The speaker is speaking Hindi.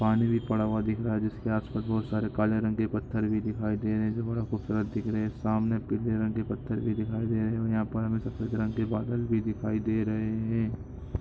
पानी भी पडा हुआ दिख रहा है जिसके आसपास बहुत सारे काले रंग के पत्थर भी दिखाई दे रहे है बड़े खूबसूरत दिख रहे हैं सामने पीले रंग के पत्थर भी दिखाई दे रहे है और यहा पर हमें सफेद रंग के बादल भी दिखाई दे रहे हैं।